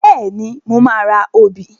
Bẹ́ẹ̀ni, mo máa ra obì.